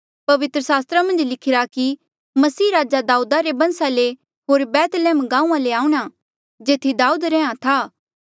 पवित्र सास्त्रा मन्झ लिखिरा कि मसीह राजा दाऊदा रे बंसा ले होर बैतलैहम गांऊँआं ले आऊंणा जेथी दाऊद रैंहयां था